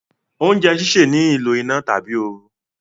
oúnjẹ síṣe ní ìlò iná tàbí ooru